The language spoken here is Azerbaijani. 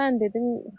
Mən dedim xeyr,